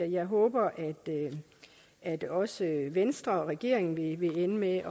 jeg håber at også venstre og regeringen vil ende med at